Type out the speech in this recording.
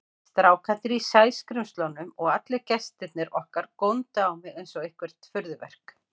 Strákarnir í Sæskrímslunum og allir gestirnir okkar góndu á mig einsog eitthvert furðuverk.